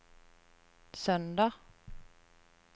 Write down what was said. søndag